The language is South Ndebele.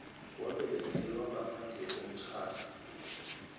wabelethelwa ngaphandle komtjhado